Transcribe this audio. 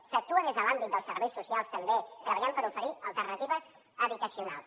s’actua des de l’àmbit dels serveis socials també treballant per oferir alternatives habitacionals